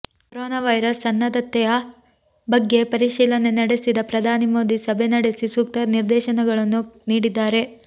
corona virus ಸನ್ನದ್ಧತೆಯ ಬಗ್ಗೆ ಪರಿಶೀಲನೆ ನಡೆಸಿದ ಪ್ರಧಾನಿ ಮೋದಿ ಸಭೆ ನಡೆಸಿ ಸೂಕ್ತ ನಿರ್ದೇಶನಗಳನ್ನು ನೀಡಿದ್ದಾರೆ